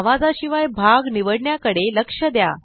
आवाजाशिवाय भाग निवडण्याकडेलक्ष द्या